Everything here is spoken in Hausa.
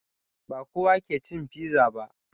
Ba kowa ke cin fiza ba.